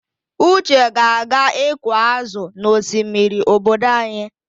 Uche ga-aga ịkụ azụ n'osimiri obodo anyị.